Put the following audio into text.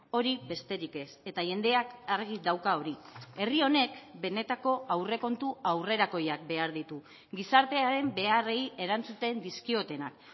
hori besterik ez eta jendeak argi dauka hori herri honek benetako aurrekontu aurrerakoiak behar ditu gizartearen beharrei erantzuten dizkiotenak